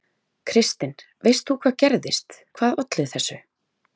Kristinn: Veist þú hvað gerðist, hvað olli þessu?